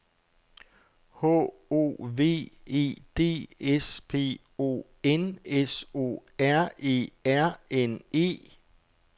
H O V E D S P O N S O R E R N E